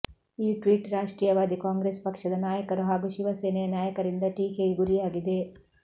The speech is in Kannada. ಈ ಟ್ವೀಟ್ ರಾಷ್ಟ್ರೀಯವಾದಿ ಕಾಂಗ್ರೆಸ್ ಪಕ್ಷದ ನಾಯಕರು ಹಾಗೂ ಶಿವಸೇನೆಯ ನಾಯಕರಿಂದ ಟೀಕೆಗೆ ಗುರಿಯಾಗಿದೆ